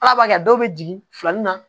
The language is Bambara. Ala b'a kɛ dɔw bɛ jigin filanin na